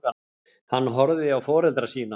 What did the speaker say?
Hann horfði á foreldra sína.